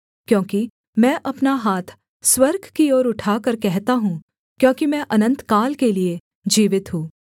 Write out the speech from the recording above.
क्योंकि मैं अपना हाथ स्वर्ग की ओर उठाकर कहता हूँ क्योंकि मैं अनन्तकाल के लिये जीवित हूँ